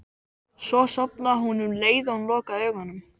Svo sofnaði hún um leið og hún lokaði augunum.